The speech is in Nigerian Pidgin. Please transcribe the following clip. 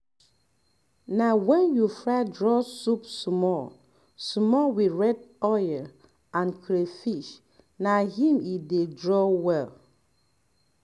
na wen you fry draw soup small small with red oil and crayfish na im e dey draw well